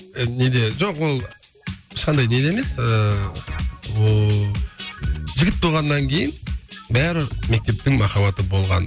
ы неде жоқ ол ешқандай неде емес ыыы ооо жігіт болғаннан кейін бәрі мектептің махаббаты болған